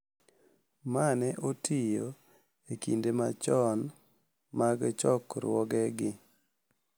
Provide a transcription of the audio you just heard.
Ma ne otiyo e kinde machon mag chokruogegi,